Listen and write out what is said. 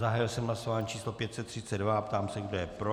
Zahájil jsem hlasování číslo 532 a ptám se, kdo je pro.